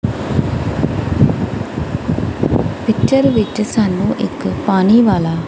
picture ਵਿੱਚ ਸਾਨੂੰ ਇੱਕ ਪਾਣੀ ਵਾਲਾ--